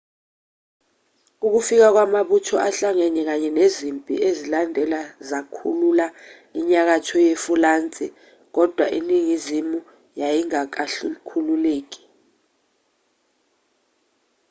ukufika kwamabutho ahlangene kanye nezimpi ezalandela zakhulula inyakatho yefulansi kodwa iningizimu yayingakakhululeki